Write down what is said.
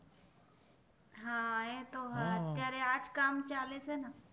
હા એતો તયારે આજ કામ ચાલે છે ના